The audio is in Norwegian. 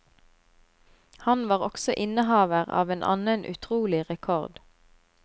Han var også innehaver av en annen utrolig rekord.